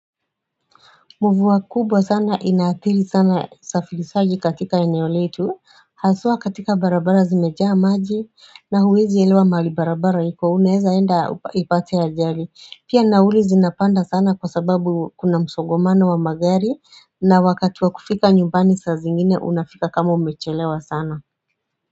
Mvua kubwa sana inaathiri sana usafirisaji katika eneoleitu Hasua katika barabara zimejaa maji na huwezi elewa mahali barabara iko, unaeza enda ipate ajali. Pia nauli zinapanda sana kwa sababu kuna msongamano wa magari na wakati wa kufika nyumbani saa zingine unafika kama umechelewa sana.